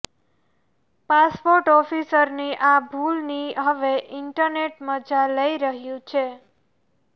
passport ઓફિસરની આ ભૂલની હવે ઈન્ટરનેટ મજા લઈ રહ્યું છે